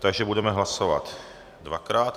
Takže budeme hlasovat dvakrát.